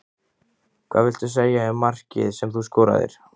Hvað viltu segja um markið sem þú skoraðir?